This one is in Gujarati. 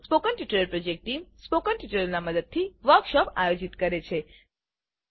spoken tutorial project team spoken ટ્યુટોરીયલોનાં મદદથી વર્કશોપોનું આયોજન કરે છે